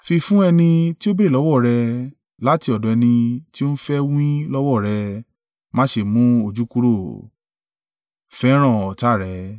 Fi fún ẹni tí ó béèrè lọ́wọ́ rẹ, láti ọ̀dọ̀ ẹni tí ó ń fẹ́ wín lọ́wọ́ rẹ, má ṣe mú ojú kúrò.